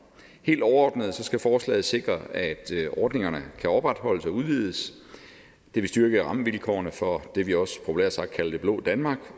helt overordnet skal forslaget sikre at ordningerne kan opretholdes og udvides det vil styrke rammevilkårene for det vi også populært sagt kalder det blå danmark